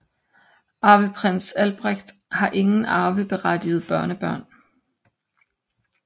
Arveprins Albrecht har ingen arveberettigede børnebørn